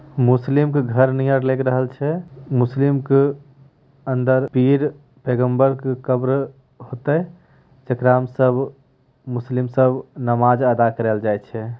मुस्लिम के घर नियर मुस्लिम के अंदर पीर पैगम्बर की कब्र होता है सब मुस्लिम सब नमाज़ अदा कराल जाएछ है।